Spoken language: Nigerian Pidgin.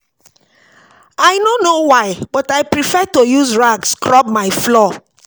I no know why but I prefer to use rag scrub my floor